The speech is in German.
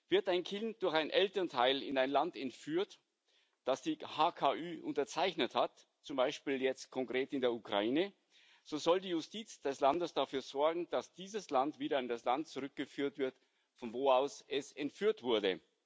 Wird ein Kind durch ein Elternteil in ein Land entführt, das das HKÜ unterzeichnet hat zum Beispiel jetzt konkret in die Ukraine so soll die Justiz des Landes dafür sorgen, dass dieses Kind wieder in das Land zurückgeführt wird, von wo aus es entführt wurde.